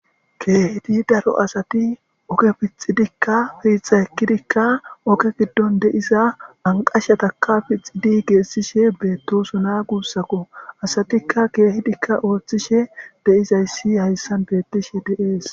Keehidi daro asati oke pixidikka fiixa ekkidikka oke giddon deiza anqashataka pixidi geessishe beettosona guussako asatikka keehidikka ooththishe deizayssi hayssan beettishe deees.